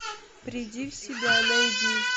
приди в себя найди